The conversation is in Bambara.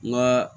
N ka